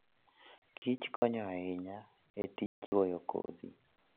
kich konyo ahinya e tij chwoyo kodhi.